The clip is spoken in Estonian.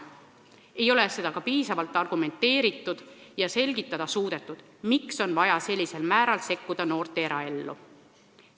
Ei ole ka piisavalt argumenteeritud ega suudetud selgitada, miks on vaja sellisel määral noorte eraellu sekkuda.